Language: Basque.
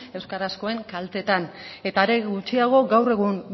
euskarazkoen kaltetan eta are gutxiago gaur egun